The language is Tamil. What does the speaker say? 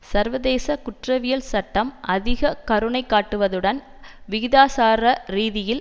சர்வதேச குற்றவியல் சட்டம் அதிக கருணை காட்டுவதுடன் விகிதாசாரரீதியில்